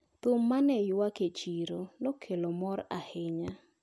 Thum mane ywak e chiro nekelo mor ahinya.